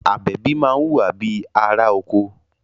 Àbẹ̀bí máa ń wùwà bíi ará oko